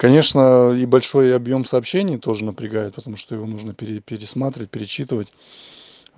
конечно и большой объём сообщения тоже напрягает потому что его нужно пересматривать перечитывать